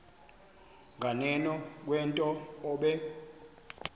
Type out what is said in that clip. nganeno kwento obe